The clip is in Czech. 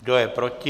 Kdo je proti?